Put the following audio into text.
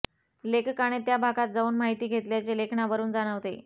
लेखकाने त्या भागात जाऊन माहिती घेतल्याचे लेखनावरून जाणवते